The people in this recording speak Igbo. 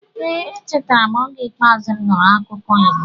Ee, echetara m oge ikpeazu m nụrụ akụkọ Igbo.